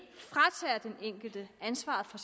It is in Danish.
enkelte ansvaret for